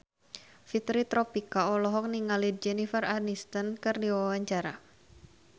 Fitri Tropika olohok ningali Jennifer Aniston keur diwawancara